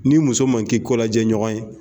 N'i muso ma k'i kolajɛɲɔgɔn ye